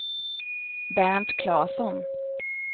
Bernt Claesson